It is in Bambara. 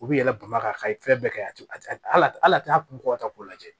U bɛ yɛlɛ bama ka ka ye fɛn bɛɛ kɛ a tɛ ala t'a kun kɔ ka taa k'u lajɛ